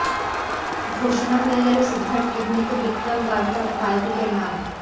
ঘোষণা হয়ে গেল সিদ্ধার্থ অভিনীত বিক্রম বার্তার বায়োপিকের নাম